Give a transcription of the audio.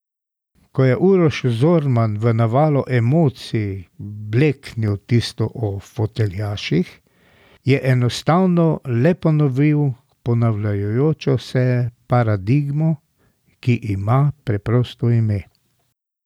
Ko je Uroš Zorman v navalu emocij bleknil tisto o foteljaših, je enostavno le ponovil ponavljajočo se paradigmo, ki ima preprosto ime.